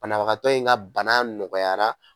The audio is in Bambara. Banabagatɔ in ka bana nɔgɔyara.